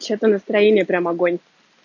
что то настроение прямо огонь